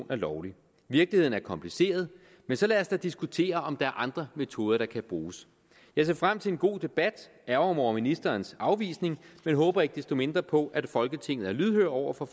er lovlig virkeligheden er kompliceret men så lad os da diskutere om der er andre metoder der kan bruges jeg ser frem til en god debat ærgrer mig over ministerens afvisning men håber ikke desto mindre på at folketinget er lydhør over for